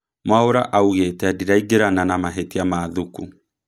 Mwaura augĩte Ndiraingĩrana na mahetia ma Thuku